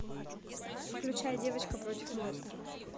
включай девочка против монстра